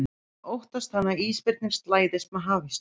En óttast hann að ísbirnir slæðist með hafísnum?